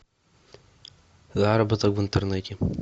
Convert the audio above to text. заработок в интернете